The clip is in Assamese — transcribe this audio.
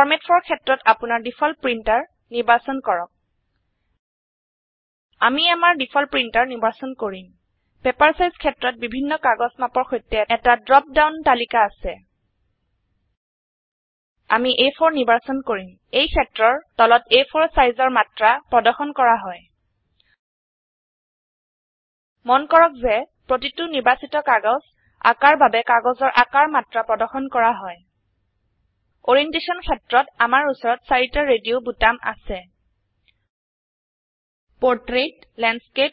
ফৰমাত ফৰ ক্ষেত্ৰত আপোনাৰ ডিফল্ট প্ৰিন্টাৰ নিৰ্বাচন কৰক আমি আমাৰ ডিফল্ট প্ৰিন্টাৰ নিৰ্বাচন কৰিম পেপাৰ চাইজ ক্ষেত্ৰত বিভিন্ন কাগজ মাপৰ সৈতে এটা ড্ৰপ ডাওন তালিকা আছে আমি আ4 নিৰ্বাচন কৰিম এই ক্ষেত্ৰৰ তলত আ4 সাইজৰ মাত্ৰা প্ৰদৰ্শন কৰা হয় মন কৰক যে প্ৰতিটো নিৰ্বাচিত কাগজ আকাৰ বাবে কাগজৰ আকাৰ মাত্ৰা প্ৰদৰ্শন কৰা হয় আৰিয়েনটেছচন ক্ষেত্ৰত আমাৰ উচৰত 4টা ৰেডিও বোতাম আছে পোৰ্ট্ৰেইট লেণ্ডস্কেপ